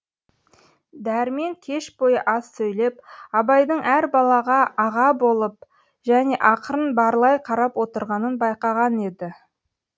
дәрмен кеш бойы аз сөйлеп абайдың әр балаға аға болып және ақырын барлай қарап отырғанын байқаған еді